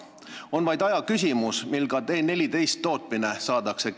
On vaid aja küsimus, mil ka T-14 tootmine käima saadakse.